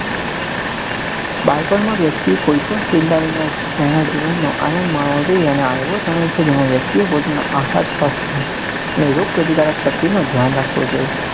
બાળપણ માં વ્યક્તીએ કોઈ પણ છેંડા વિના તેના જીવન નો આણંદ માણવો જોઈએ અને આ એવો સમય છે જેમાં વ્યક્તિ એ પોતાના હર્ષ ને રોગપ્રતિકારક શક્તિ નું ધ્યાન રાખવું જોઈએ